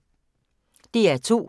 DR2